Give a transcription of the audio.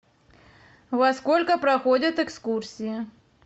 во сколько проходят экскурсии